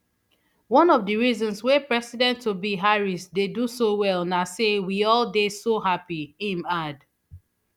one of di reasons wey presidenttobe harris dey do so well na say we all dey so happy im add